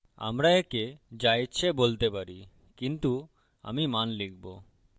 আমরা একে যা ইচ্ছে বলতে পারি কিন্তু আমি মান লিখবো